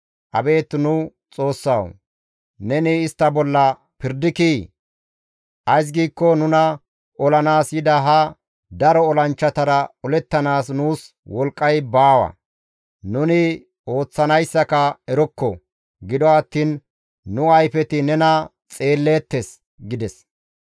Abeet nu Xoossawu, neni istta bolla pirdikii? Ays giikko nuna olanaas yida ha daro olanchchatara olettanaas nuus wolqqay baawa; nuni ooththanayssaka erokko; gido attiin nu ayfeti nena xeelleettes» gides.